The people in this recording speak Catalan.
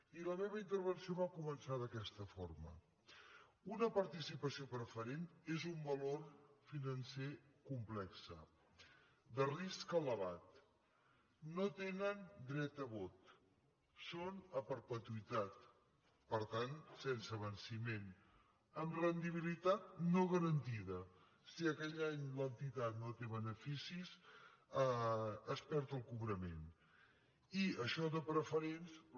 i la meva intervenció va començar d’aquesta forma una participació preferent és un valor financer complex de risc elevat no tenen dret a vot són a perpetuïtat per tant sense venciment amb rendibilitat no garantida si aquell any l’entitat no té beneficis es perd el cobrament i això de preferents